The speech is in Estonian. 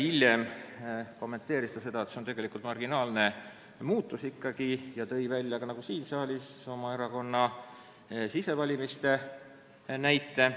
Hiljem ta kommenteeris seda, et see on tegelikult marginaalne muutus, ja tõi nagu siin saaliski oma erakonna sisevalimiste näite.